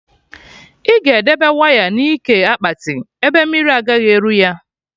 I ga edebe waya na ike akpati, ebe mmiri agaghị eru ya